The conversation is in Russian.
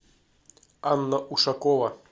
анна ушакова